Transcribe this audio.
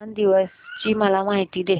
किसान दिवस ची मला माहिती दे